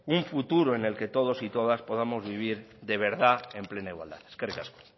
un futuro en el que todos y todas podamos vivir de verdad en plena igualdad eskerrik asko